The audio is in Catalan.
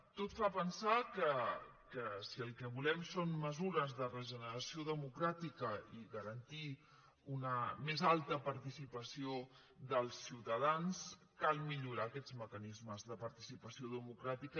tot fa pensar que si el que volem són mesures de regeneració democràtica i garantir una més alta participació dels ciutadans cal millorar aquests mecanismes de participació democràtica